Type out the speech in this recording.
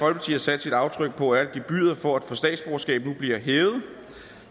har sat sit aftryk på er at gebyret for at få statsborgerskab nu bliver hævet